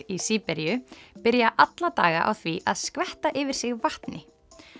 í Síberíu byrja alla daga á því að skvetta yfir sig vatni